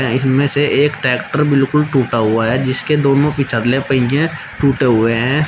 इनमें से एक ट्रैक्टर बिल्कुल टूटा हुआ है जिसके दोनों पहिए टूटे हुए हैं।